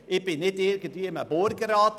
Ich bin nicht in einem Burgerrat.